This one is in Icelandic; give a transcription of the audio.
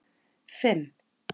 fimm